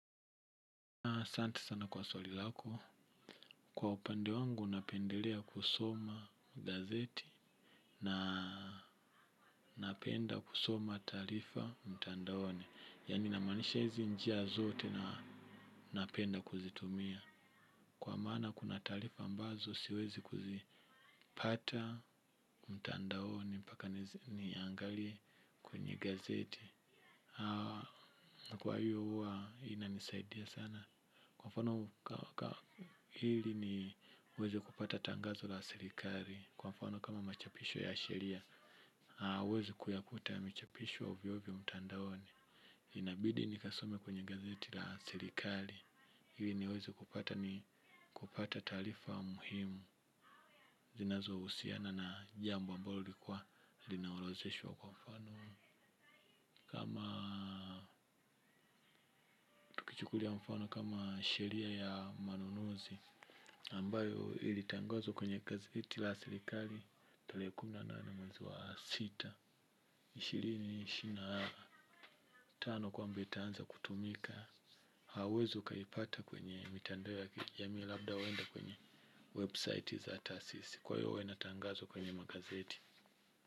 Kwa upande wangu napendelea kusoma gazeti na napenda kusoma taarifa mtandaoni. Yaani namaanisha hizi njia zote na napenda kuzitumia. Kwa maana kuna taarifa ambazo siwezi kuzipata mtandaoni paka niangalie kwenye gazeti. Kwa hiyo uwa inanisaidia sana. Kwafano hili ni weze kupata tangazo la sirikari. Kwafano kama machapisho ya sheria uezi kuyakuta yamechapisho ovyo ovyo mtandaoni. Inabidi nikasome kwenye gazeti la sirikari. Hili niweze kupata ni kupata taarifa muhimu zinazo usiana na jambo ambalo likuwa linaolozeshwa kwamfano. Kama tukichukulia mfano kama sheria ya manunuzi ambayo ili tangazo kwenye gazeti la silikali tarehe kumi na nane mwezi wa sita ishirini ishirini na tano kwamba itaanza kutumika hauwezi ukaipata kwenye mitandao ya kijamii labda wende kwenye website za taasisi kwa hiyo wenatangazwa kwenye magazeti.